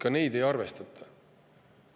Ka neid ei arvestata.